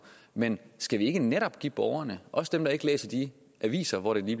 men skal vi ikke netop give borgerne også dem der ikke læser de aviser hvori det